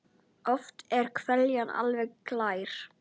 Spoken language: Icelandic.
Oft er hveljan alveg glær.